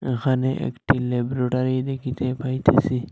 এখানে একটি ল্যাবরোডারি দেখিতে পাইতেসি।